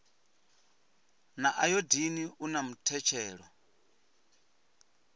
na ayodini u na muthetshelo